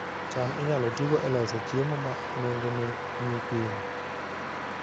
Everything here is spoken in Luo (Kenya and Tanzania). cham inyalo tigo e loso chiemo ma nengone ni piny